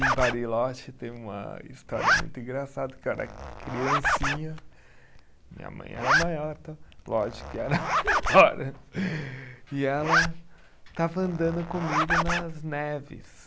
Em Bariloche tem uma história muito engraçada, que eu era criancinha, minha mãe era maior tal, lógico que era maior, e ela estava andando comigo nas neves.